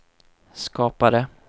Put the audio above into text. skapade